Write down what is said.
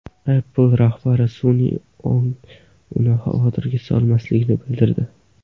Apple rahbari sun’iy ong uni xavotirga solmasligini bildirdi.